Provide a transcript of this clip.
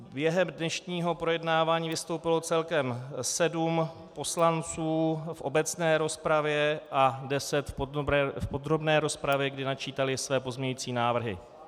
Během dnešního projednávání vystoupilo celkem sedm poslanců v obecné rozpravě a deset v podrobné rozpravě, kdy načítali své pozměňující návrhy.